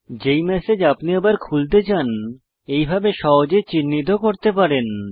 যে ম্যাসেজ আপনি আবার খুলতে চান এইভাবে সহজে চিহ্নিত করতে পারেন